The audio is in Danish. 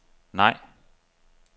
nej